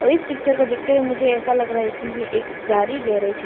इस पिक्चर को देखते हुए मुझे ऐसा लग रहा है कि ये एक गाड़ी गैरेज है।